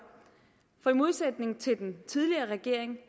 for i modsætning til den tidligere regering